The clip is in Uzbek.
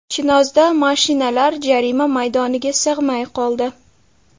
Chinozda mashinalar jarima maydoniga sig‘may qoldi.